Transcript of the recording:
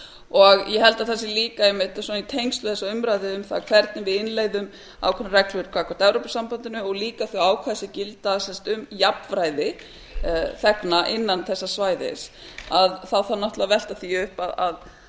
og ég held að það sé líka einmitt í tengslum við þessa umræðu um það hvernig við innleiðum ákveðnar reglur gagnvart evrópusambandinu og líka þau ákvæði sem gilda sem sagt um jafnræði þegna innan þessa svæðis þá þarf náttúrlega að velta því upp erum